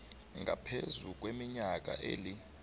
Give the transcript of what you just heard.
ngaphezu kweminyaka eli